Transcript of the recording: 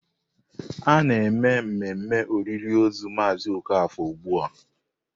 A na-eme mmemme olili ozu Mazị Okafor ugbu a.